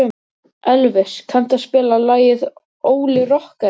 Elvis, kanntu að spila lagið „Óli rokkari“?